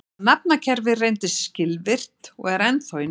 Þetta nafnakerfi reyndist skilvirkt og er ennþá í notkun.